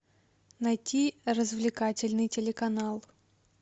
найти развлекательный телеканал